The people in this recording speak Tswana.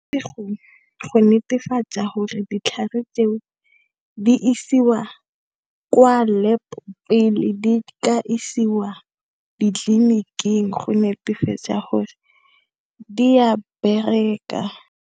Go netefatsa di isiwa kwa lab pele di tla isiwa ditleliniking go netefatsa gore di a bereka.